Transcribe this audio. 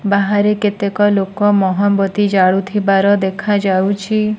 ବାହାରେ କେତେକ ଲୋକ ମହମ୍ ବତି ଜାଳୁଥିବାର ଦେଖାଯାଉଛି।